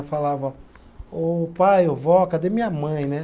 Eu falava, ô pai, ô vó, cadê minha mãe, né?